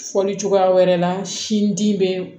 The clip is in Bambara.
Fɔli cogoya wɛrɛ la sin di bɛ